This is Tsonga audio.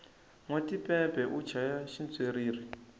nwa tipepe u chaya xitswiriri